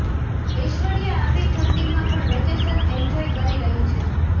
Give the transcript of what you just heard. ઐશ્વર્યા આવી ઠંડીમાં પણ વેકેશન એન્જોય કરી રહી છે